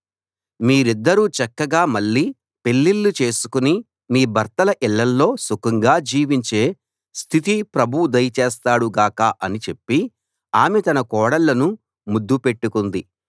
మీరిద్దరూ చక్కగా మళ్ళీ పెళ్ళిళ్ళు చేసుకుని మీ భర్తల ఇళ్ళల్లో సుఖంగా జీవించే స్థితి ప్రభువు దయచేస్తాడు గాక అని చెప్పి ఆమె తన కోడళ్ళను ముద్దు పెట్టుకుంది